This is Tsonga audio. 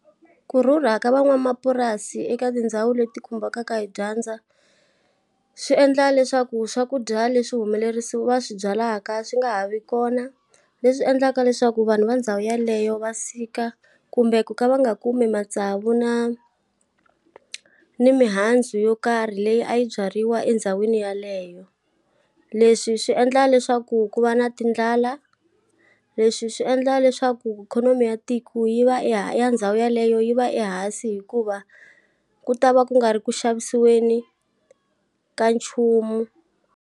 Ku rhurha ka van'wamapurasi eka tindhawu leti khumbekaka hi dyandza, swi endla leswaku swakudya leswi humelerisi va swi byalaka swi nga ha vi kona. Leswi endlaka leswaku vanhu va ndhawu yeleyo va sika kumbe ku ka va nga kumi matsavu na, ni mihandzu yo karhi leyi a yi byariwa endhawini yeleyo. Leswi swi endla leswaku ku va na tindlala, leswi swi endla ya leswaku ikhonomi ya tiko yi va ya ndhawu ya leyo yi va ehansi hikuva, ku ta va ku nga ri ku xavisiweni ka nchumu.